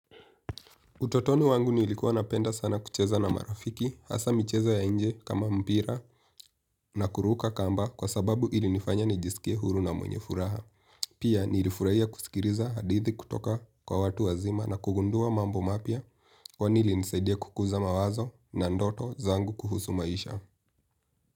Utotoni wangu nilikuwa napenda sana kucheza na marafiki, hasaa michezo ya nje kama mpira na kuruka kamba kwa sababu ilinifanya nijisikie huru na mwenye furaha. Pia nilifurahia kusikiliza hadithi kutoka kwa watu wazima na kugundua mambo mapya kwani ilinisaidia kukuza mawazo na ndoto zangu kuhusu maisha.